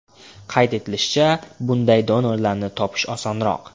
Qayd etilishicha, bunday donorlarni topish osonroq.